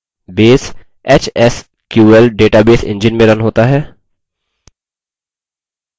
base hsql database engine में run होता है